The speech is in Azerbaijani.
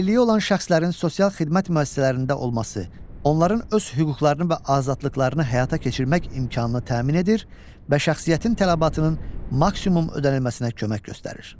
Əlilliyi olan şəxslərin sosial xidmət müəssisələrində olması onların öz hüquqlarını və azadlıqlarını həyata keçirmək imkanını təmin edir və şəxsiyyətin tələbatının maksimum ödənilməsinə kömək göstərir.